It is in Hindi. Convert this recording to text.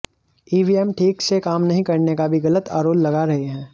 ईवीएम ठीक से काम नहीं करने का भी गलत आरोल लगा रहे हैं